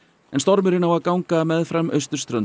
en stormurinn á að ganga meðfram austurströnd